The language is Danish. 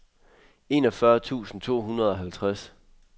enogfyrre tusind to hundrede og halvtreds